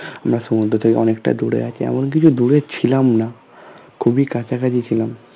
আমরা সমুদ্র থেকে অনেকটা দূরে আছি এমন কিছু দূরে ছিলাম না খুবই কাছাকাছি ছিলাম